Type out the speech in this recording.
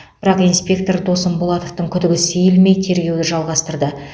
бірақ инспектор досым болатовтың күдігі сейілмей тергеуді жалғастырды